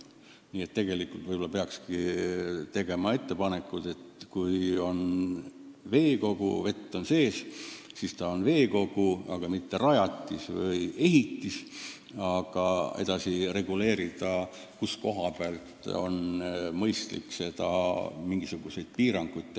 Nii et võib-olla peakski tegema ettepaneku, et kui on süvend, milles vesi on sees, siis on see veekogu, mitte rajatis või ehitis, ja reguleerida, kust alates on seatud mingisugused piirangud.